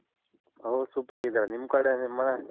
ಓ Super ಆಗಿದಾರೆ ನಿಮ್ ಆಕಡೆ ನಿಮ್ ಮನೆ ?